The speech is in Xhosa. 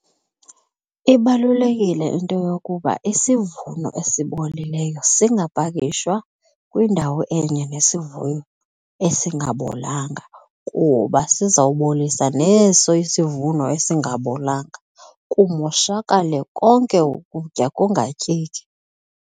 Ibalulekile into yokuba isivuno esibolileyo singapakishwa kwindawo enye nesivuno esingabolanga kuba sizawubolisa neso isivuno esingabolanga kumoshakale konke ukutya kungatyeki.